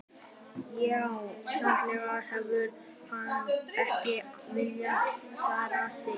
Já, sennilega hefur hann ekki viljað særa þig.